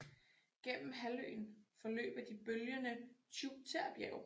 Gennem halvøen forløber de bølgende Tjuktjerbjerge